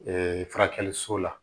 Ee furakɛliso la